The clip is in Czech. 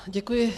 Děkuji.